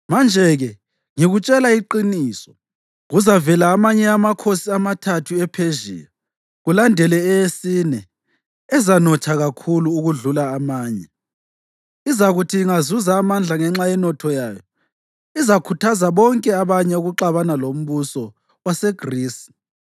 “Manje-ke ngikutshela iqiniso: Kuzavela amanye amakhosi amathathu ePhezhiya, kulandele eyesine, ezanotha kakhulu okudlula amanye. Izakuthi ingazuza amandla ngenxa yenotho yayo izakhuthaza bonke abanye ukuxabana lombuso waseGrisi.